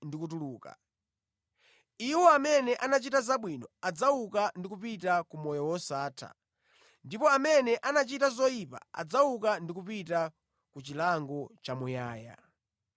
ndi kutuluka. Iwo amene anachita zabwino adzauka ndi kupita ku moyo wosatha ndipo amene anachita zoyipa adzauka ndi kupita ku chilango chamuyaya.